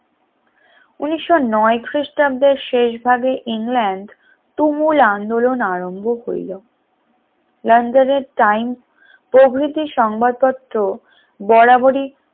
উনিশশনয় খ্রিস্টাব্দের শেষ ভাগে ইংল্যান্ড তুমুল আন্দোলন আরম্ভ করল লন্ডনের times প্রভৃতি সংবাদপত্র বরাবরই